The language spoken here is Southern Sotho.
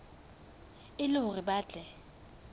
e le hore ba tle